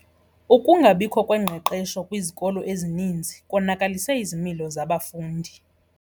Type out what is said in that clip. Ukungabikho kwengqeqesho kwizikolo ezininzi konakalise izimilo zabafundi.